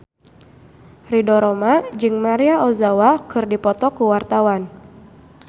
Ridho Roma jeung Maria Ozawa keur dipoto ku wartawan